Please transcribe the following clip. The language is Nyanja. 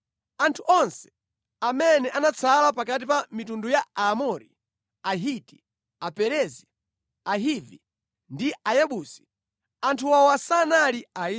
Panali anthu amene anatsala pakati pa mitundu ya Aamori, Ahiti, Aperezi, Ahivi ndi Ayebusi (anthu awa sanali Aisraeli).